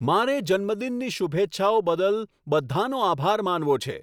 મારે જન્મદિનની શુભેચ્છાઓ બદલ બધાંનો આભાર માનવો છે